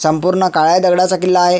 संपूर्ण काळ्या दगडाचा किल्ला आहे.